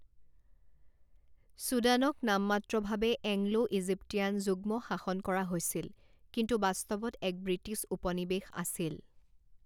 ছুডানক নামমাত্ৰভাৱে Anglo Egyptian যুগ্মশাসন কৰা হৈছিল কিন্তু বাস্তৱত এক ব্ৰিটিছ উপনিৱেশ আছিল।